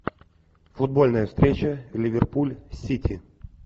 футбольная встреча ливерпуль сити